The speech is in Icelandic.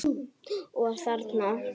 Og þarna?